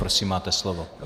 Prosím, máte slovo.